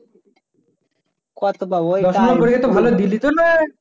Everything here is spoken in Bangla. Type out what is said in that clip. কত পাবো